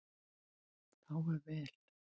Þá er vel.